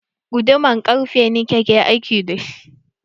Guduman ƙarfe na ke aiki da shi.